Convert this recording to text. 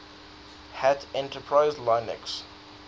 hat enterprise linux